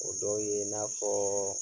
O dɔw ye i n'a fɔ